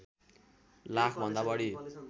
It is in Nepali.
लाख भन्दा बढी